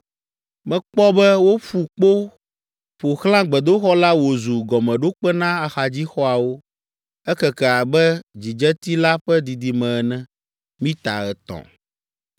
Mekpɔ be woƒu kpo ƒo xlã gbedoxɔ la wòzu gɔmeɖokpe na axadzixɔawo. Ekeke abe dzidzeti la ƒe didime ene: mita etɔ̃.